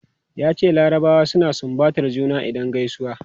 Yace larabawa suna sumbatar juna idan gaisuwa.